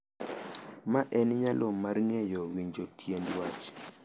Ma en nyalo mar ng’eyo, winjo tiend wach,